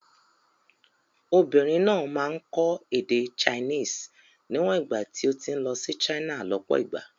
Obìnrin náà máa kọ́ èdè Chinese níwọ̀n ìgbà tí ó ti ń lọ sí China lọ́pọ̀ ìgbà.